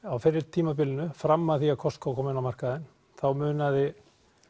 á fyrri tímabilinu fram að því þegar Costco kom á markaðinn þá munaði